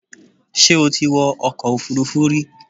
Ṣé o ti wọ ọkọ̀ Òfurufú rí